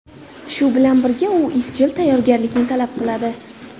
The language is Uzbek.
Shu bilan birga, u izchil tayyorgarlikni talab qiladi.